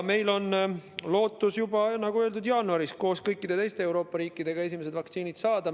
Meil on lootus, nagu öeldud, juba jaanuaris koos kõikide teiste Euroopa riikidega esimesed vaktsiinid saada.